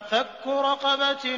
فَكُّ رَقَبَةٍ